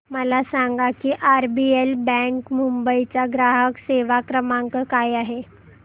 मला सांगा की आरबीएल बँक मुंबई चा ग्राहक सेवा क्रमांक काय आहे